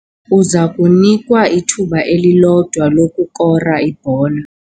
Uza kunikwa ithuba elilodwa lokukora ibhola.